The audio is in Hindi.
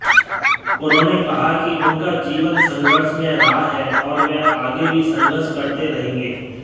उन्होंने कहा कि उनका जीवन संघर्षमय रहा है और वह आगे भी संघर्ष करते रहेंगे